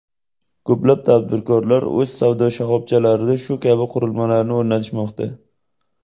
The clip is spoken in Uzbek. Ko‘plab tadbirkorlar o‘z savdo shoxobchalarida shu kabi qurilmalarni o‘rnatishmoqda.